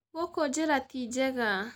Gũkũ njĩra ti njega.